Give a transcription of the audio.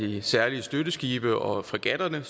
de særlige støtteskibe og fregatterne